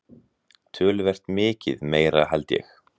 Töluvert mikið meira held ég.